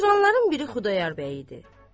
Oturanların biri Xudayar bəy idi.